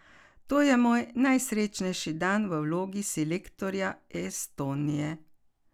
To je moj najsrečnejši dan v vlogi selektorja Estonije.